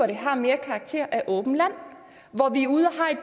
det har mere karakter af åbent land